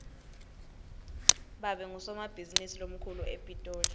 babe ngusomabhizinisi lomkhulu epitoli